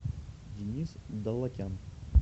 денис даллакян